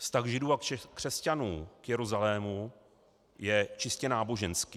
Vztah Židů a křesťanů k Jeruzalému je čistě náboženský.